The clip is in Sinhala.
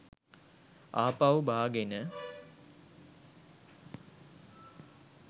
ආපහු බාගෙන